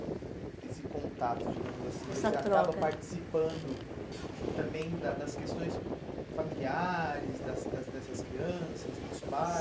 E esse contato, digamos assim, essa troca, você acaba participando também da das questões familiares, das das dessas crianças, dos